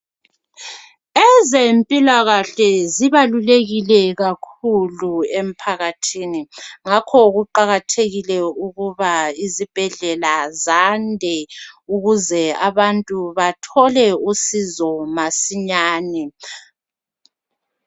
Ezempilakahle zibalulekile kakhulu emphakathini. Ngakho kuqakathekile ukuba izibhedlela zande ukuze abantu bathole usizo masinyane.